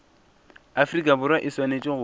afrika borwa e swanetše go